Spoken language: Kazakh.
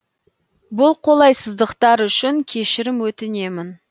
бұл қолайсыздықтар үшін кешірім өтінемін